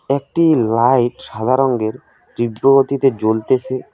একটি লাইট সাদা রঙ্গের তীব্র গতিতে জ্বলতেসে।